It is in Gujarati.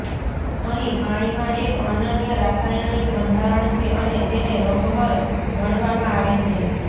અહીં પાણીમાં એક અનન્ય રાસાયણિક બંધારણ છે અને તેને રોગહર ગણવામાં આવે છે